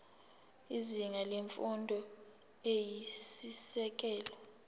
izinga lemfundo eyisisekelo